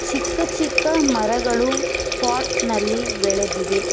ಚಿಕ್ಕ ಚಿಕ್ಕ ಮರಗಳು ಪಾಟ್ ನಲ್ಲಿ ಬೆಳೆದಿವೆ.